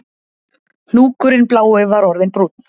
Hnúkurinn blái var orðinn brúnn